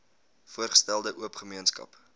voorgestelde oop gemeenskap